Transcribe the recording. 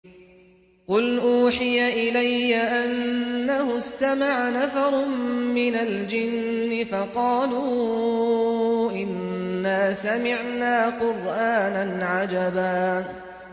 قُلْ أُوحِيَ إِلَيَّ أَنَّهُ اسْتَمَعَ نَفَرٌ مِّنَ الْجِنِّ فَقَالُوا إِنَّا سَمِعْنَا قُرْآنًا عَجَبًا